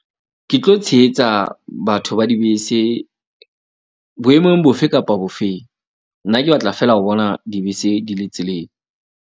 Ke tlo tshehetsa batho ba dibese boemong bofe kapa bofeng. Nna ke batla fela ho bona dibese di le tseleng.